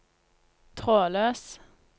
trådløs